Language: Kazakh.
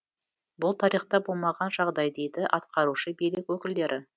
бұл тарихта болмаған жағдай дейді атқарушы билік өкілдері